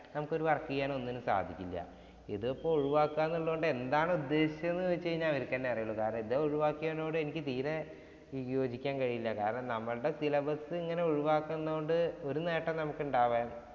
നമുക്കൊരു work ചെയ്യാനോ ഒന്നിനും സാധിക്കില്ല. ഇതിപ്പോൾ ഒഴിവാക്കാന്ന് ഉള്ളോണ്ട് എന്താണ് ഉദ്ദേശിച്ചതെന്നു ചോദിച്ചു കഴിഞ്ഞാൽ അവര്ക്ക് തന്നെ അറിയുള്ളൂ. കാരണം ഇത് ഒഴിവാക്കിയതിനോട് എനിക്ക് തീരെ വിയോജിക്കാൻ കഴിയില്ല കാരണം നമ്മുട syllabus ഇങ്ങനെ ഒഴിവാക്കുന്നുണ്ട് ഒരു നേട്ടവും നമുക്ക് ഉണ്ടാകാന്‍